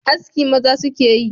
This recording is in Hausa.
Haski maza su ke yi